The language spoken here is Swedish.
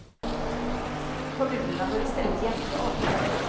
Kommunerna bör i stället jämka avgifterna.